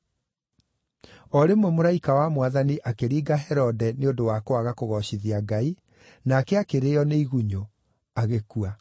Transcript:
O rĩmwe mũraika wa Mwathani akĩringa Herode nĩ ũndũ wa kwaga kũgoocithia Ngai, nake akĩrĩĩo nĩ igunyũ, agĩkua.